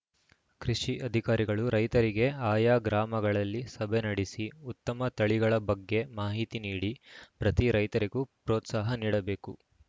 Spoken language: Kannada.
ಕೃಷಿ ಅಧಿಕಾರಿಗಳು ರೈತರಿಗೆ ಆಯಾ ಗ್ರಾಮಗಳಲ್ಲಿ ಸಭೆ ನಡೆಸಿ ಉತ್ತಮ ತಳಿಗಳ ಬಗ್ಗೆ ಮಾಹಿತಿ ನೀಡಿ ಪ್ರತಿ ರೈತರಿಗೂ ಪ್ರೋತ್ಸಾಹ ನೀಡಬೇಕು